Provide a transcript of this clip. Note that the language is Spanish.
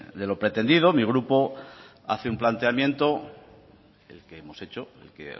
de lo pretendido mi grupo hace un planteamiento el que hemos hecho el que